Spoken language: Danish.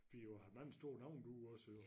Fordi du har mange store navne du også jo